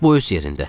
Bu öz yerində.